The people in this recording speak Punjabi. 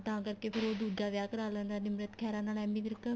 ਤਾਂ ਕਰਕੇ ਫੇਰ ਉਹ ਦੂਜਾ ਵਿਆਹ ਕਰਾ ਲੈਂਦਾ ਨਿਮਰਤ ਖਹਿਰਾ ਨਾਲ ਐਮੀ ਵਿਰਕ